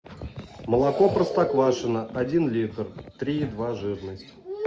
молоко простоквашино один литр три и два жирность